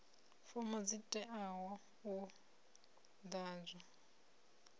fomo dzi teaho u ḓadzwa